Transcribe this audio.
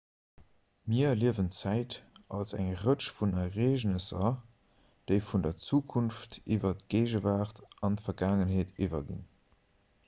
mir erliewen zäit als eng rëtsch vun ereegnesser déi vun der zukunft iwwer d'géigewaart an d'vergaangenheet iwwerginn